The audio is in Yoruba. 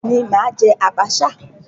Bẹ́ẹ̀ ni, mà á jẹ́ àbàṣà.